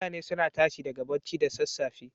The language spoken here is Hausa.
Mutane suna tashi daga bacci da sassafe.